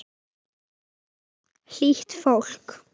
Hlýtt fólk.